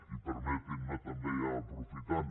i permetin me també ja aprofitant